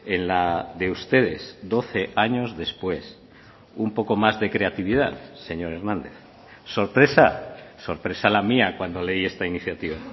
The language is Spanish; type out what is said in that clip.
en la de ustedes doce años después un poco más de creatividad señor hernández sorpresa sorpresa la mía cuando leí esta iniciativa